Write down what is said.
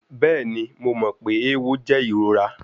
Bẹẹni, Mo mọ pe ewo jẹ irora